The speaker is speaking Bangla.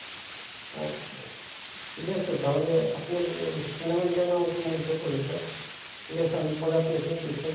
আচ্ছা ঠিকাছে তাহলে আপনার cinema জ্ঞান আমাকে মুগ্ধ করেছে। ঠিকাছে আমি পরে আপনার সঙ্গে বিস্তারিত